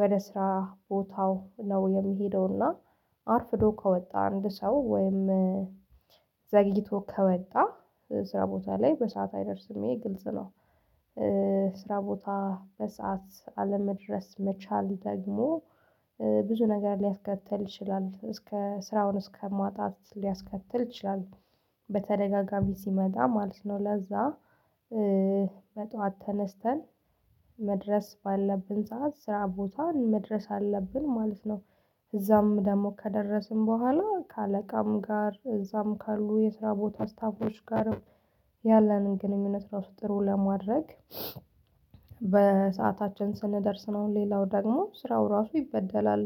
ወደ ስራ ቦታው ነው የሚሄደውና። አርፍዶ ከወጣ አንድ ሰው ወይም ዘግይቶ ከወጣ ስራ ቦታ ላይ በሰአት አይደርስም ግልጽ ነው። ስራ ቦታ በሰአት አለመድረስ መቻል ደግሞ ብዙ ነገር ሊያስከትል ይችላል እስከ ስራውን እስከ ማጣት ሊያስከትል ይችላል። በተደጋጋሚ ሲመጣ ማለት ነው ለዛ በጧት ተነስተን መድረስ ባለብን ሰዓት ስራ ቦታን መድረስ አለብን ማለት ነው። እዛም ደግሞ ከደረስን በኋላ ከአለቃም ጋር እዛም ካሉ የስራ ቦታ ስታፎች ጋርም ያለንን ግንኙነት ራሱ ጥሩ ለማድረግ። በሰአታችን ስንደርስ ነው ሌላው ደግሞ ስራው ራሱ ይበደላል።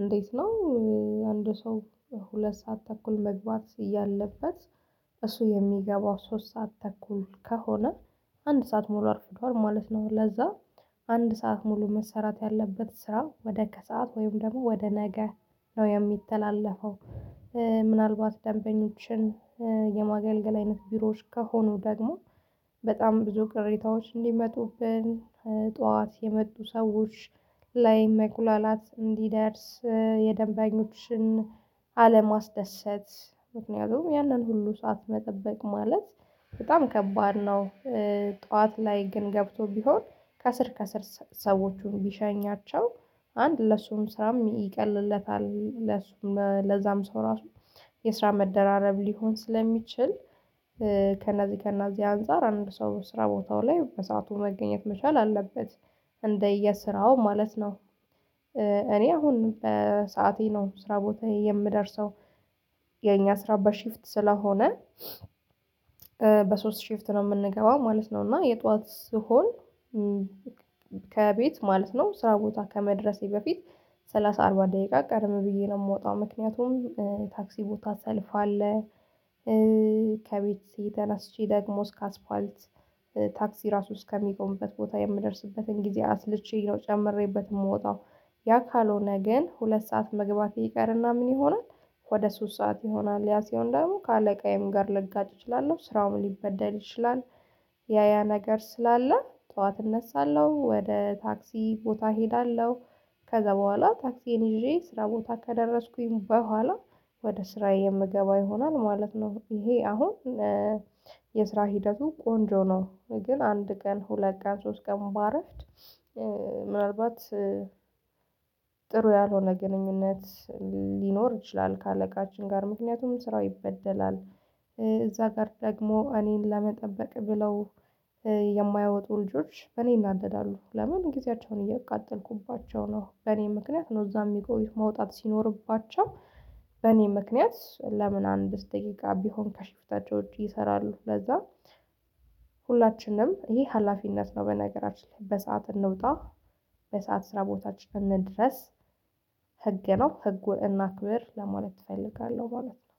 እንዴት ነው? አንድ ሰው ሁለት ሰዓት ተኩል መግባት እያለበት እሱ የሚገባው ሶስት ሰዓት ተኩል ከሆነ አንድ ሰዓት ሙሉ አርፍዷል ማለት ነው። ለዛ አንድ ሰዓት ሙሉ መሰራት ያለበት ስራ ወደ ከሰአት ወይም ደግሞ ወደ ነገ ነው የሚተላለፈው። ምናልባት ደንበኞችን የማገልገል አይነት ቢሮዎች ከሆኑ ደግሞ በጣም ብዙ ቅሬታዎች እንዲመጡብን ጠዋት የመጡ ሰዎች ላይ መጉላላት እንዲደርስ የደንባኞችን አለማስደሰት ምክንያቱም ያንን ሁሉ ሰዓት መጠበቅ ማለት በጣም ከባድ ነው። ጠዋት ላይ ግን ገብቶ ቢሆን ከስር ከስር ሰዎቹን ቢሸኛቸው አንድ ለሱም ስራም ይቀልለታል ለሱም ለዛም ሰው ራሱ የስራ መደራረብ ሊሆን ስለሚችል። ከነዚህ ከነዚህ አንፃር አንድ ሰው ስራ ቦታው ላይ በሰአቱ መገኘት መቻል አለበት። እንደየስራው ማለት ነው። እኔ አሁን በሰአቴ ነው ስራ ቦታ የምደርሰው። የኛ ስራ በሽፍት ስለሆነ በሶስት ሽፍት ነው የምንገባው ማለት ነው እና የጧት ስሆን። ከቤት ማለት ነው ስራ ቦታ ከመድረሴ በፊት ሰላሳ አርባ ደቂቃ ቀደም ብዬ ነው የምወጣው ምክንያቱም ታክሲ ቦታ ሰልፍ አለ። ከቤት ተነስቼ ደግሞ እስከ አስፋልት ታክሲ ራሱ እስከሚቆምበት ቦታ የምደርስበትን ጊዜ አስልቼ ነው ጨምሬበት የምወጣው። ያ ካልሆነ ግን ሁለት ሰዓት መግባት ይቀርና ምን ይሆናል? ወደ ሶስት ሰዓት ይሆናል ያ ሲሆን ደግሞ ከአለቃዬም ጋር ልጋጭ እችላለሁ ስራውም ሊበደል ይችላል። ያ ያ ነገር ስላለ ጠዋት እነሳለሁ ወደ ታክሲ ቦታ እሄዳለሁ። ከዛ በኋላ ታክሲን ይዤ ስራ ቦታ ከደረስኩኝ በኋላ ወደ ስራዬ የምገባ ይሆናል ማለት ነው። ይሄ አሁን የስራ ሂደቱ ቆንጆ ነው። ግን አንድ ቀን ሁለት ቀን ሶስት ቀን ባረፍድ ምናልባት ጥሩ ያልሆነ ግንኙነት ሊኖር ይችላል ከአለቃችን ጋር ምክንያቱም ስራው ይበደላል። እዛ ጋር ደግሞ እኔን ለመጠበቅ ብለው የማያወጡ ልጆች በእኔ ይናደዳሉ። ለምን ጊዜያቸውን እየቃጠልኩባቸው ነው። በእኔ ምክንያት ነው እዛ የሚቆዬ መውጣት ሲኖርባቸው። በእኔ ምክንያት ለምን አንድ ደቂቃ ቢሆን ከሽፍታቸው ውጪ ይሰራሉ ለዛ። ሁላችንም ይሄ ሀላፊነት ነው። በነገራችን ላይ በሰአት እንውጣ በሰአት ስራ ቦታችን እንድረስ። ህግ ነው ህጉን እናክብር ለማለት እፈልጋለሁ ማለት ነው